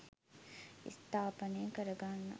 ස්ථාපානය කරගන්න.